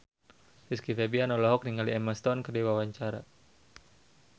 Rizky Febian olohok ningali Emma Stone keur diwawancara